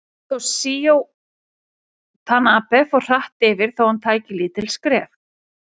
Toshizo Tanabe fór hratt yfir þó hann tæki lítil skref.